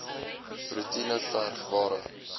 roetine verg ware